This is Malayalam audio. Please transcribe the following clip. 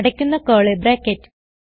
അടയ്ക്കുന്ന കർലി ബ്രാക്കറ്റ്